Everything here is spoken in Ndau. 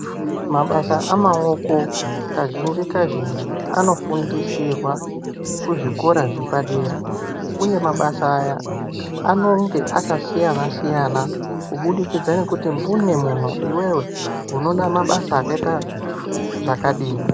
Mabasa amawoko kazhinji kazhinji anofundisirwa kuzvikora zvepadera. Uye mabasa aya, anonge akasiyana siyana, kubudikitsa nekuti mbune munhu iwewe unonamabasa akayita zvakadini.